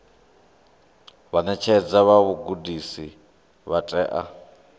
vhaṋetshedzi vha vhugudisi vha tea